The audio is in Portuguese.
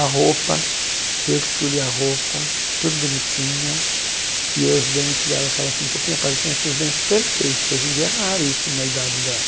A roupa, eu que escolhi a roupa, tudo bonitinha, e os dentes dela estavam assim um pouquinho aparecendo, ela tinha os dentes perfeito, hoje em dia é raro isso numa idade dela.